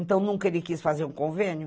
Então, nunca ele quis fazer um convênio.